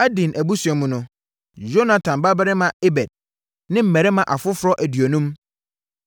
Adin abusua mu no: Yonatan babarima Ebed ne mmarima afoforɔ aduonum.